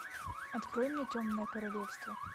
открой мне темное королевство